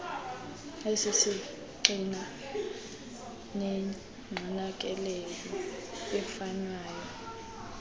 esisisgxina negcinakeleyo efunyanwa